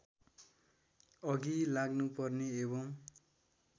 अघि लाग्नुपर्ने एवं